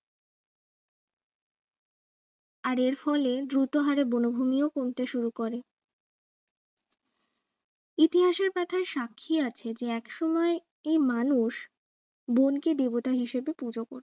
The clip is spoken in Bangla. আর এর ফলে দ্রুতহারে বনভূমিও কমতে শুরু করে ইতিহাসের পাতায় সাক্ষী আছে যে একসময় এই মানুষ বনকে দেবতা হিসাবে পুজো করতো